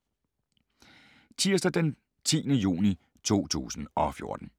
Tirsdag d. 10. juni 2014